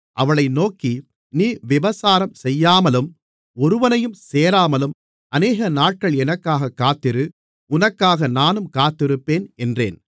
அவளை நோக்கி நீ விபசாரம் செய்யாமலும் ஒருவனையும் சேராமலும் அநேகநாட்கள் எனக்காகக் காத்திரு உனக்காக நானும் காத்திருப்பேன் என்றேன்